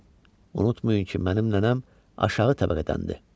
Cənab, unutmayın ki, mənim nənəm aşağı təbəqədəndir.